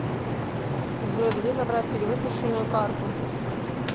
джой где забрать перевыпущенную карту